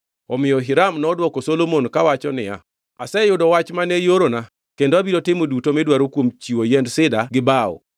Omiyo Hiram nodwoko Solomon kawacho niya, “Aseyudo wach mane iorona kendo abiro timo duto midwaro kuom chiwo yiend Sida gi bao.